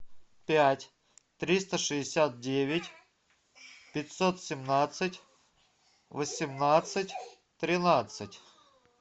пять триста шестьдесят девять пятьсот семнадцать восемнадцать тринадцать